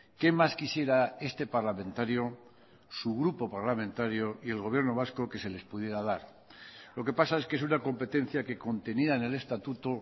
qué más quisiera este parlamentario su grupo parlamentario y el gobierno vasco que se les pudiera dar lo que pasa es que es una competencia que contenida en el estatuto